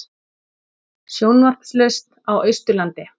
Sjónvarpslaust á Austurlandi